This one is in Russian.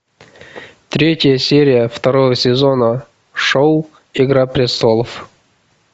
третья серия второго сезона шоу игра престолов